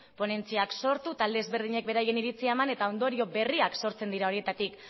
ponentziak sortu talde ezberdinek beraien iritzia eman eta ondorio berriak sortzen dira horietatik